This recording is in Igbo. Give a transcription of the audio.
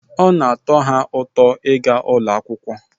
Ọ na-atọ ha ụtọ ịga ụlọ akwụkwọ